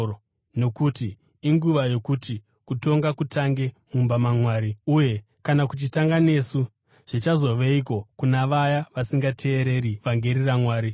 Nokuti inguva yokuti kutonga kutange mumba maMwari; uye kana kuchitanga nesu, zvichazoveiko kuna vaya vasingateereri vhangeri raMwari?